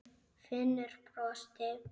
Finnur brosti.